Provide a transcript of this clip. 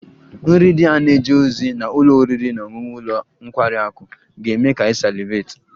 Nri ndị a na-eje ozi na ụlọ oriri na ọṅụṅụ ụlọ nkwari akụ ga-eme ka ị salivate